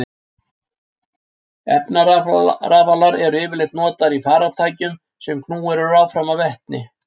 Efnarafalar eru yfirleitt notaðir í farartækjum sem knúin eru áfram með vetni.